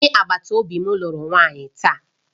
Onye agbata obi m lụrụ nwanyị taa